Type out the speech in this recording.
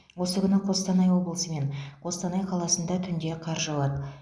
осы күні қостанай облысы мен қостанай қаласында түнде қар жауады